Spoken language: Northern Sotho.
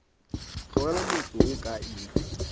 tlogela motse wo ka iri